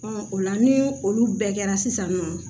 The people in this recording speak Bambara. o la ni olu bɛɛ kɛra sisan nɔ